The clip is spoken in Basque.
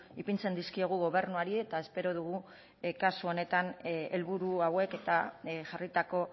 ipintzen dizkiogu gobernuari eta espero dugu kasu honetan helburu hauek eta jarritako